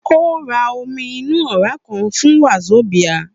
Ó ra omi inú òrá kan fún Wazobia